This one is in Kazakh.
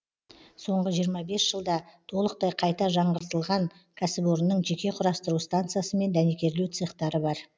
соңғы жиырма бес жылда толықтай қайта жаңғыртылған кәсіпорынның жеке құрастыру станциясы мен дәнекерлеу цехтары бар